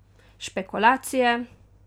Špekulacije!